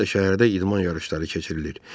Yenə də şəhərdə idman yarışları keçirilir.